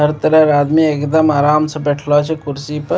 हर तरह के आदमी एकदम आराम से बैठलो छै कुर्सी पे।